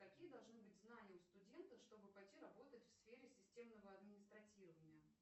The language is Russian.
какие должны быть знания у студента чтобы пойти работать в сфере системного администратирования